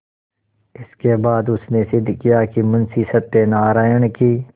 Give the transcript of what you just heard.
इसके बाद उसने सिद्ध किया कि मुंशी सत्यनारायण की